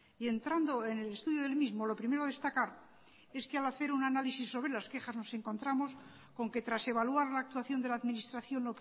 y entrando en el estudio del mismo lo primero a destacar es que al hacer un análisis sobre las quejas nos encontramos con que tras evaluar la actuación de la administración